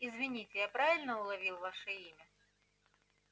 извините я правильно уловил ваше имя